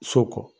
So kɔ